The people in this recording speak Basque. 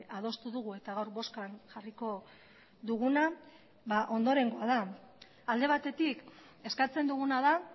adostu dugu eta gaur bozkan jarriko duguna ondorengoa da alde batetik eskatzen duguna da